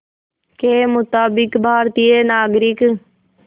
के मुताबिक़ भारतीय नागरिक